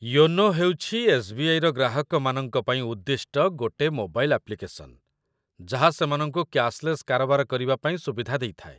YONO ହେଉଛି ଏସ୍.ବି.ଆଇ.ର ଗ୍ରାହକମାନଙ୍କ ପାଇଁ ଉଦ୍ଦିଷ୍ଟ ଗୋଟେ ମୋବାଇଲ୍ ଆପ୍ଲିକେସନ୍‌, ଯାହା ସେମାନଙ୍କୁ କ୍ୟାଶ ଲେସ୍ କାରବାର କରିବା ପାଇଁ ସୁବିଧା ଦେଇଥାଏ